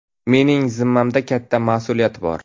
Mening zimmamda katta mas’uliyat bor.